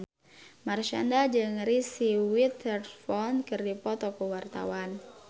Marshanda jeung Reese Witherspoon keur dipoto ku wartawan